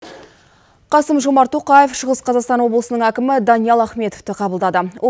қасым жомарт тоқаев шығыс қазақстан облысының әкімі даниал ахметовты қабылдады